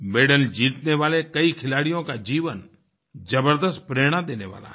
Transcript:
medal जीतने वाले कई खिलाड़ियों का जीवन ज़बर्दस्त प्रेरणा देने वाला है